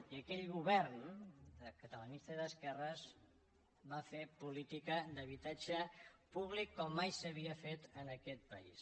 i aquell govern catalanista i d’esquerres va fer política d’habitatge públic com mai s’havia fet en aquest país